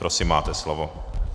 Prosím, máte slovo.